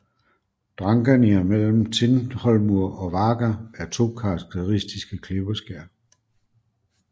Drangarnir mellem Tindhólmur og Vágar er to karakteristiske klippeskær